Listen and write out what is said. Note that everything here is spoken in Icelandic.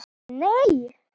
Geir Nei.